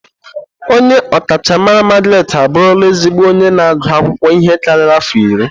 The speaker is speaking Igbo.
Onye ọkachamara Margaret abụrụla ezigbo onye na-agụ akwụkwọ ihe karịrị afọ iri.